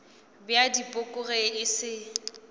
bja dipoko ge e se